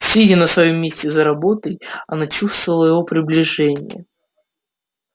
сидя на своём месте за работой она чувствовала его приближение